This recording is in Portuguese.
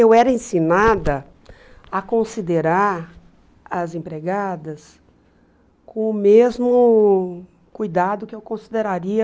Eu era ensinada a considerar as empregadas com o mesmo cuidado que eu consideraria...